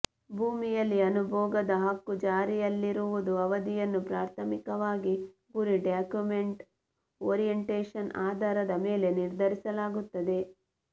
ಭೂಮಿಯಲ್ಲಿ ಅನುಭೋಗದ ಹಕ್ಕು ಜಾರಿಯಲ್ಲಿರುವುದು ಅವಧಿಯನ್ನು ಪ್ರಾಥಮಿಕವಾಗಿ ಗುರಿ ಡಾಕ್ಯುಮೆಂಟ್ ಓರಿಯೆಂಟೇಶನ್ ಆಧಾರದ ಮೇಲೆ ನಿರ್ಧರಿಸಲಾಗುತ್ತದೆ